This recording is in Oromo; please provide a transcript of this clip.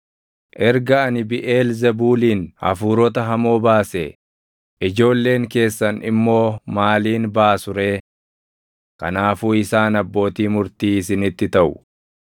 Erga ani Biʼeelzebuuliin hafuurota hamoo baasee, ijoolleen keessan immoo maaliin baasu ree? Kanaafuu isaan abbootii murtii isinitti taʼu.